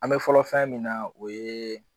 An me fɔlɔ fɛn min na o ye